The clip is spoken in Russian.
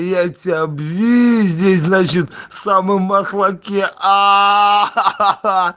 я тебя обвинить значит в самым мохлаке аа